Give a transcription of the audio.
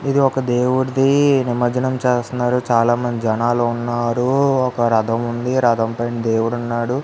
ఇది ఒక దేవుడిది నిమర్జనం చేస్తున్నారు చాలా మంది జనాలు ఉన్నారు ఒక రథం ఉంది రథంపై దేవుడు ఉన్నాడు.